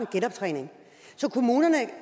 genoptræningen så kommunerne